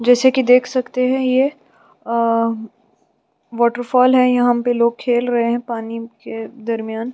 जैसे कि देख सकते हैं ये वॉटरफॉल है यहाँ पर लोग खेल रहै हैं पानी के दरमियान--